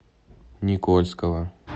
никольского